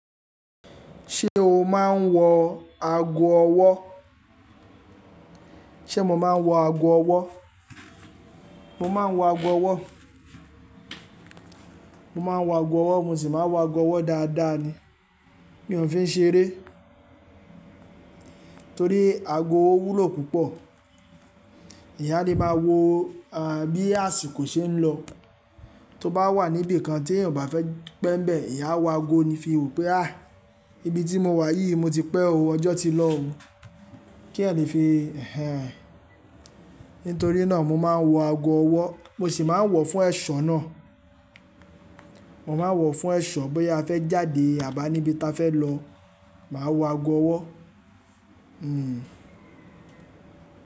Ṣé o máa ń wọ ago ọwọ́? Ṣé mo máa ń wọ ago ọwọ́? Mo máa ń wọ ago ọwọ́. Mo máa ń wọ ago ọwọ́, mo sì máa wọ ago ọwọ́ dáadáa ni mi o fi ń ṣe eré. Torí ago owó wúlò púpọ̀. Èèyàn a lè má wo bí àsìkò ṣe ń lọ, tó bá wà níbi kan tí èeyan ò bá fẹ́ pé ń bẹ, èèyàn a wo ago ni fi wo pé "à, ibi tí mo wà yìí mo ti pẹ́ ó, ọjọ́ ti lọ o." Kí èèyàn lè fi, ẹhẹn. Nítorí náà mo máa ń wọ ago ọwọ́. Mo sì máa ń wọ fún ẹ̀ṣọ́ náà. Mo máa ń wọ fún ẹ̀ṣọ́ bóyá a fẹ́ jáde àbí a níbi tí a fẹ́ lọ, màá wọ ago ọwọ́.